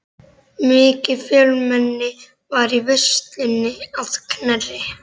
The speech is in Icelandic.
Mikið fjölmenni var í veislunni að Knerri.